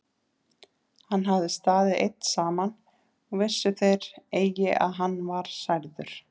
Hann hafði staðið einn saman og vissu þeir eigi að hann var særður.